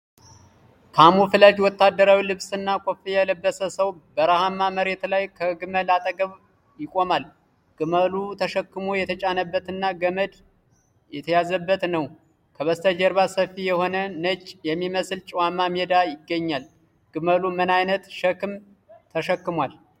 ካሙፍላጅ ወታደራዊ ልብስና ኮፍያ የለበሰ ሰው በረሃማ መሬት ላይ ከግመል አጠገብ ይቆማል። ግመሉ ሸክም የተጫነበትና ገመድ የተያዘበት ነው። ከበስተጀርባ ሰፊ የሆነ ነጭ የሚመስል ጨዋማ ሜዳ ይገኛል። ግመሉ ምን ዓይነት ሸክም ተሸክሟል?